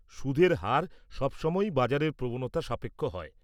সুদের হার সবসময়ই বাজারের প্রবণতা সাপেক্ষ হয়।